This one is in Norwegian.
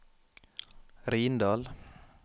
Rindal